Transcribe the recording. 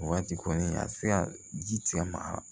O waati kɔni a ti se ka ji tigɛ maga